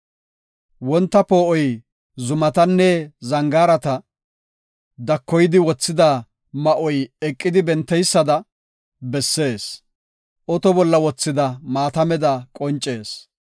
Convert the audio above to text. Wonta poo7oy zumatanne zangaarata, dakoydi wothida ma7oy eqidi benteysada bessees; oto bolla wothida maatameda qoncees.